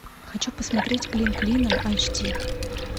хочу посмотреть клин клином айч ди